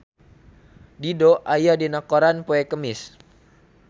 Dido aya dina koran poe Kemis